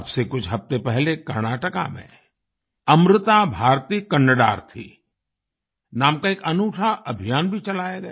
अब से कुछ हफ्ते पहले कर्नाटका में अमृता भारती कन्नडार्थी नाम का एक अनूठा अभियान भी चलाया गया